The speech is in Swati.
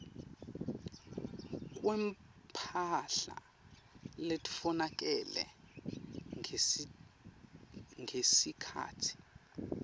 kwemphahla letfolakele ngesikhatsi